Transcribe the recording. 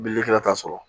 Bililikɛla t'a sɔrɔ